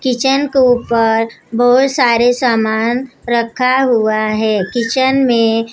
kitchen के ऊपर बहोत सारे सामान रखा हुआ है किचन में--